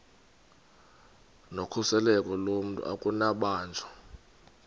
nokhuseleko lomntu akunakubanjwa